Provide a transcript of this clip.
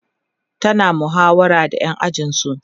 tana muhawara da ƴan ajinsu